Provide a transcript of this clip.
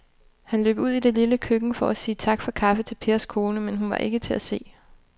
Han løb ud i det lille køkken for at sige tak for kaffe til Pers kone, men hun var ikke til at se.